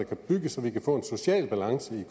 kan bygges så vi kan få en social balance